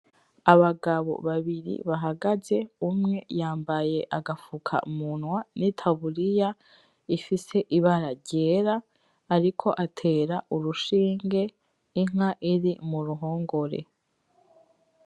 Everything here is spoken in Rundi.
Abagabo babiri bahagaze umwe yambaye agafukamunwa nitaburiya ifise ibara ryera ariko atera urushinge inka iri muruhongore.